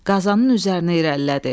Qazanın üzərinə irəlilədi.